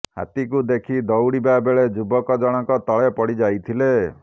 ହାତୀକୁ ଦେଖି ଦଉଡ଼ିବା ବେଳେ ଯୁବକ ଜଣକ ତଳେ ପଡ଼ି ଯାଇଥିଲେ